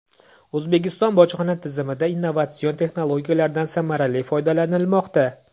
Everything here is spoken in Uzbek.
O‘zbekiston bojxona tizimida innovatsion texnologiyalardan samarali foydalanilmoqda.